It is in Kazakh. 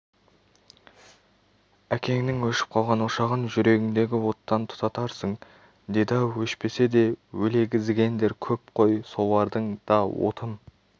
әкеңнің өшіп қалған ошағын жүрегіңдегі оттан тұтатарсың деді-ау өшпесе де өлегізігендер көп қой солардың да отын